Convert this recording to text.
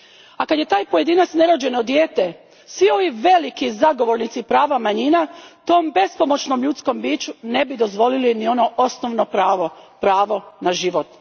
A kad je taj pojedinac nerođeno dijete, svi ovi veliki zagovornici prava manjina tom bespomoćnom ljudskom biću ne bi dozvolili ni ono osnovno pravo pravo na život.